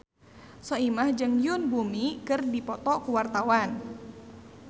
Soimah jeung Yoon Bomi keur dipoto ku wartawan